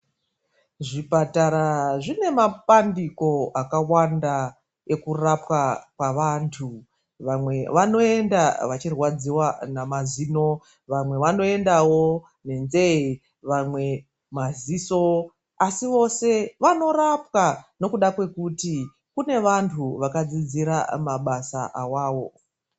Zvipatara zvine mapandiko akawanda ekurapwa kwavantu. Vamwe vanoenda vachirwadziwa namazino. Vamwe vanoendawo nenzee. Vamwe maziso. Asi vose vanorapwa nekuda kwekuti kune vantu vakadzidzira mabasa awawo.